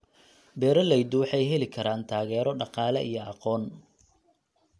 Beeraleydu waxay heli karaan taageero dhaqaale iyo aqoon.